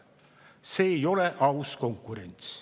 See ei ole aus konkurents.